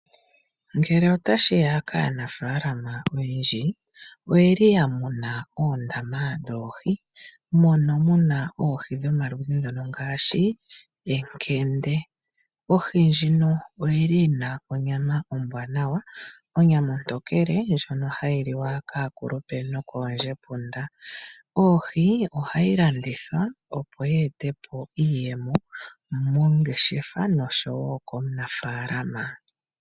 Ngele otashiya kaanafalama oyendji oyeli yamuna oondama dhoohi mono muna oohi dhomaludhi ngono ngaashi enkende. Ohi ndjino oyili yina onyama ombwanawa onyama ontokele ndjono hayi liwa kaakulupe noko oondjepunda. Ohi ohayi landithwa opo ye etepo iiyemo mongeshefa noshowo komunafalama.